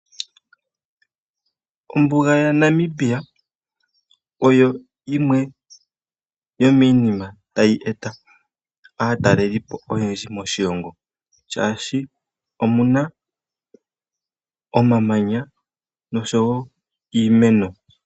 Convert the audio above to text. Ombuga yaNamibia oyo yimwe yomiinima mbyoka tayi eta aataleli oyendji moshilongo, oshoka omuna omamanya nosho wo iimeno.